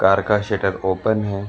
Car का shutter open है।